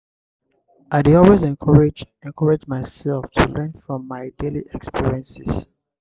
i dey always encourage encourage myself to learn from my daily experiences.